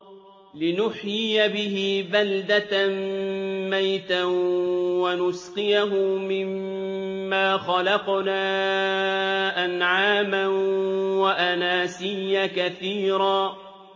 لِّنُحْيِيَ بِهِ بَلْدَةً مَّيْتًا وَنُسْقِيَهُ مِمَّا خَلَقْنَا أَنْعَامًا وَأَنَاسِيَّ كَثِيرًا